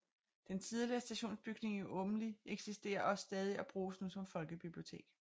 Den tidligere stationsbygning i Åmli eksisterer også stadig og bruges nu som folkebibliotek